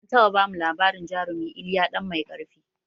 An taɓa bamu labarin jarumi iliya ɗan mai ƙarfi